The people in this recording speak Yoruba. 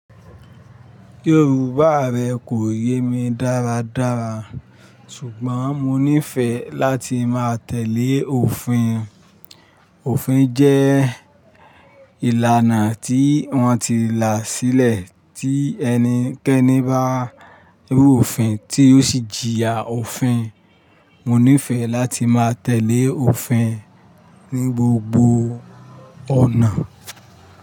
Yorùbá rẹ kò yé mi dáradára, ṣùgbọ́n mo nífẹ̀ẹ́ láti máa tẹ̀lé òfin. Òfin jẹ́ ìlànà tí wọ́n ti là sílẹ̀ tí ẹnikẹ́ni bá rú òfin tí ó sì jìyà òfin. Mo nífẹ̀ẹ́ láti máa tẹ̀lé òfin ní gbogbo ọ̀nà.